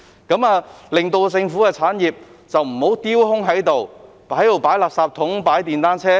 這樣政府的產業便不會丟空，只用來擺放垃圾桶及電單車。